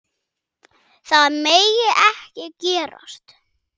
Það megi ekki gerast.